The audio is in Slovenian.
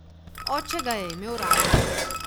Oče ga je imel rad.